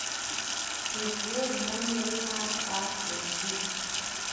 Tugna wer mong'ere mar r.n.b